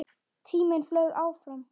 Tíminn flaug áfram.